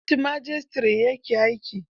A kotun majistare ya ke aiki.